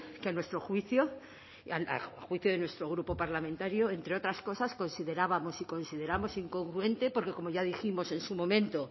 que a nuestro juicio a juicio de nuestro grupo parlamentario entre otras cosas considerábamos y consideramos incongruente porque como ya dijimos en su momento